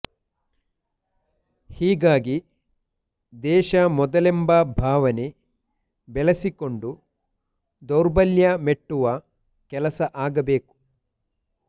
ಹೀಗಾಗಿ ದೇಶ ಮೊದಲೆಂಬ ಭಾವನೆ ಬೆಳೆಸಿಕೊಂಡು ದೌರ್ಬಲ್ಯ ಮೆಟ್ಟುವ ಕೆಲಸ ಆಗಬೇಕು